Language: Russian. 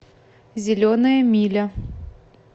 зеленая миля